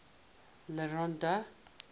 le rond d